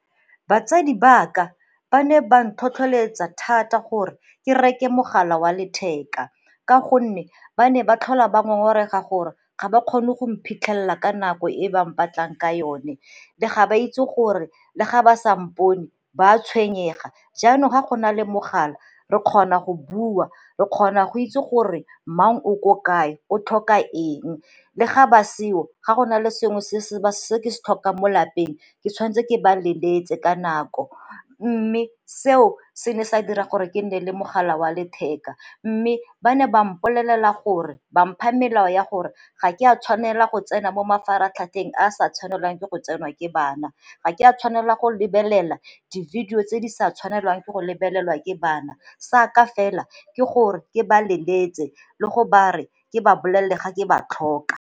Batsadi baka ba ne ba ntlhotlheletsa thata gore ke reke mogala wa letheka ka gonne ba ne ba tlhola ba ngongorega gore ga ba kgone go mphitlhelela ka nako e ba mpatlang ka yone ga ba itse gore le ga ba sa mpone ba a tshwenyega jaanong ga go na le mogala re kgona go bua re kgona go itse gore mang o ko kae o tlhokang le ga ba seo ga go na le sengwe se ke se tlhokang mo lapeng ke tshwanetse ke ba leletse ka nako. Mme se seo se ne sa dira gore ke nne le mogala wa letheka mme ba ne ba mpolelele gore ba mpha melao ya gore ga ke a tshwanela go tsena mo mafaratlhatlheng a sa tshwanelang ke go tsenwa ke bana, ga ke a tshwanela go lebelela dilo tse di sa tshwanelwang ke go lebelelwa ke bana, sa ka fela ke gore ke ba leletse le go ba re ke ba bolelele ga ke ba tlhoka.